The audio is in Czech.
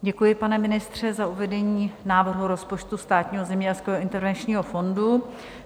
Děkuji, pane ministře, za uvedení návrhu rozpočtu Státního zemědělského intervenčního fondu.